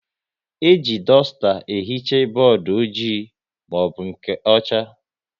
E ji dusta ehicha bọọdụ ojii maọbụ nke ọcha